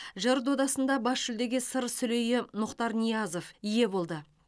жыр додасында бас жүлдеге сыр сүлейі мұхтар ниязов ие болды